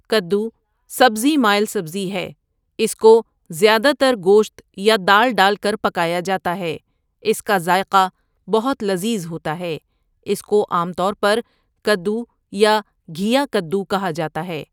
کدو سبزی مائل سبزی ہے اس کو زیادہ تر گوشت یا دال ڈال کر پکایا جاتا ہے اس کا ذائقہ بہت لذیذ ہوتا ہے اس کو عام طور پر کدو یا گِھیا کدو کہا جاتا ہے۔